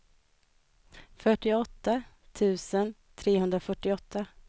fyrtioåtta tusen trehundrafyrtioåtta